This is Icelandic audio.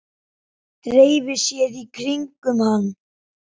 Dreifi sér í kringum hann.